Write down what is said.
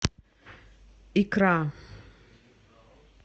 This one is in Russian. икра